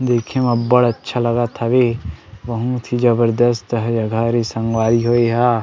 देखे म अब्बड़ अच्छा लागत हवे बहुत ही जबरदस्त ह जगह हरे संगवारी हो एहा --